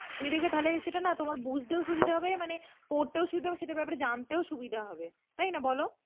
তুমি দেখবে তাহলে সেটা না তোমার বুঝতেও সুবিধা হবে মানে পড়তেও সুবিধা হবে সেটার ব্যাপারে জানতেও সুবিধা হবে. তাই না বলো?